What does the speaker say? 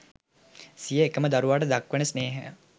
සිය එකම දරුවාට දක්වන ස්නේහයට